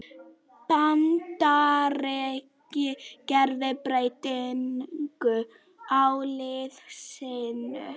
Bandaríkin gera breytingu á liði sínu